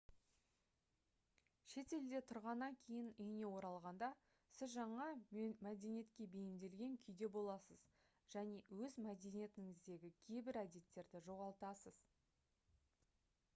шетелде тұрғаннан кейін үйіне оралғанда сіз жаңа мәдениетке бейімделген күйде боласыз және өз мәдениетіңіздегі кейбір әдеттерді жоғалтасыз